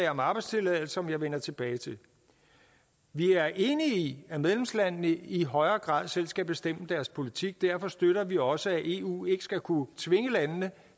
om arbejdstilladelser som jeg vender tilbage til vi er enige i at medlemslandene i højere grad selv skal bestemme deres politik derfor støtter vi også at eu ikke skal kunne tvinge landene